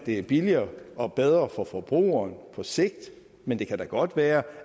er billigere og bedre for forbrugeren på sigt men det kan da godt være